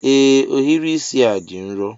Ee ohiri isi a dị nro